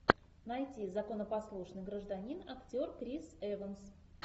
найти законопослушный гражданин актер крис эванс